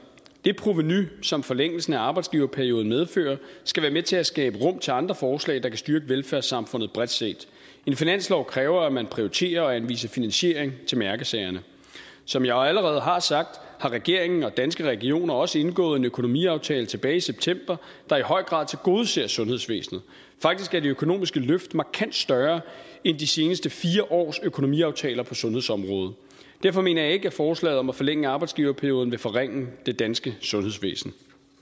det provenu som forlængelsen af arbejdsgiverperioden medfører skal være med til at skabe rum til andre forslag der kan styrke velfærdssamfundet bredt set en finanslov kræver at man prioriterer og anviser finansiering til mærkesagerne som jeg allerede har sagt har regeringen og danske regioner også indgået en økonomiaftale tilbage i september der i høj grad tilgodeser sundhedsvæsenet faktisk er det økonomiske løft markant større end i de seneste fire års økonomiaftaler på sundhedsområdet derfor mener jeg ikke at forslaget om at forlænge arbejdsgiverperioden vil forringe det danske sundhedsvæsen